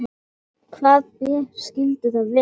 Hvaða ber skyldu það vera?